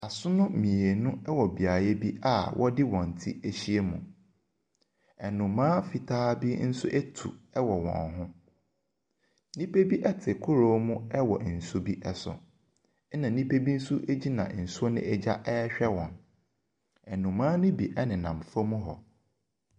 Asono mmienu ɛwɔ beaeɛ bi a wɔde wɔn ti ahyia mu. Nnomaa fitaa bi ɛnso atu ɛwɔ wɔn ho. Nnipa bi ɛte kodoɔ mu ɛwɔ nsuo bi so ɛna nnipa bi nso egyina nsuo no ɛgya ɛrehwɛ wɔn. Nnomaa no bi ɛnenam fam hɔ.